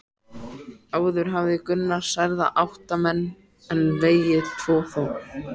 Áður hafði Gunnar særða átta menn en vegið þá tvo.